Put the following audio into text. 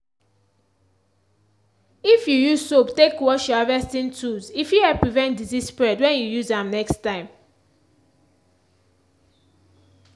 if you use soap take wash your harvesting tools e fit help prevent disease spread when you use am next time.